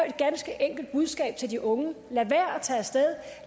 et ganske enkelt budskab til de unge lad være